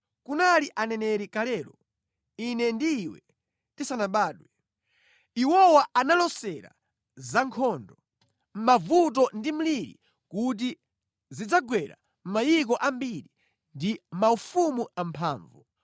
Kunali aneneri kalelo, ine ndi iwe tisanabadwe. Iwowa analosera za nkhondo, mavuto ndi mliri kuti zidzagwera mayiko ambiri ndi maufumu amphamvu.